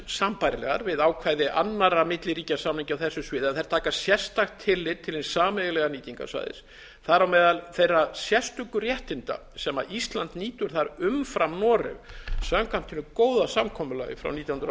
sambærilegar við ákvæði annarra milliríkjasamninga á þessu sviði en taka sérstakt tillit til hins sameiginlega nýtingarsvæðis þar á meðal þeirra sérstöku réttinda sem ísland nýtur þar umfram noreg samkvæmt hinu góða samkomulagi frá nítján hundruð